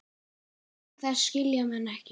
Hjal þess skilja menn ekki.